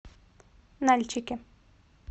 нальчике